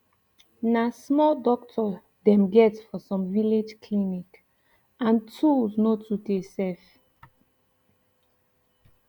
na small doctor dem get for sum village clinic and tools no too dey sef